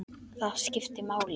Það skipti máli.